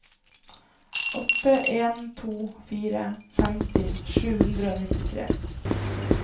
åtte en to fire femti sju hundre og nittitre